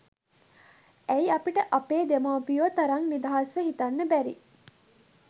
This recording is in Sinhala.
ඇයි අපිට අපේ දෙමව්පියො තරං නිදහස්ව හිතන්න බැරි?